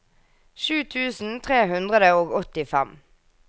sju tusen tre hundre og åttifem